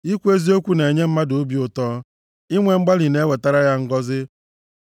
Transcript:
Ikwu eziokwu na-enye mmadụ obi ụtọ, inwe mgbalị na-ewetara ya ngọzị.